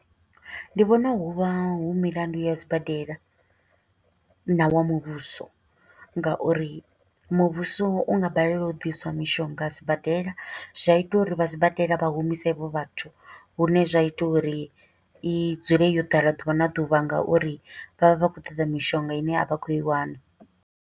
Ndi vhona hu vha hu milandu ya sibadela, na wa muvhuso, nga uri muvhuso u nga balelwa u ḓiswa mishonga a sibadela, zwa ita uri vha sibadela vha humisa havho vhathu. Lune zwa ita uri i dzule yo ḓala ḓuvha na ḓuvha, nga uri vha vha vha khou ṱoḓa mishonga ine a vha khou i wana.